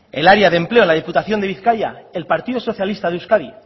el área de empleo en la diputación de bizkaia el partido socialista de euskadi